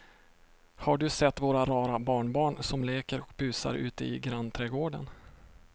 Har du sett våra rara barnbarn som leker och busar ute i grannträdgården!